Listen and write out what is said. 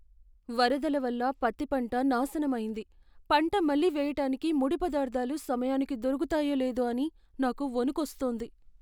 వరదల వల్ల పత్తి పంట నాశనమైంది, పంట మళ్ళీ వెయ్యటానికి ముడి పదార్థాలు సమయానికి దొరుకుతాయో లేదో అని నాకు వణుకొస్తోంది.